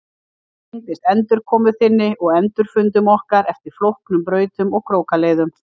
Það tengdist endurkomu þinni og endurfundum okkar eftir flóknum brautum og krókaleiðum.